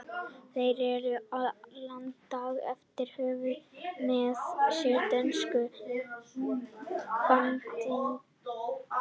Þeir reru í land daginn eftir og höfðu með sér dönsku bandingjana.